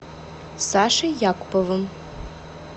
сашей якуповым